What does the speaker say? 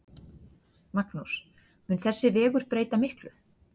Magnús: Mun þessi vegur breyta miklu?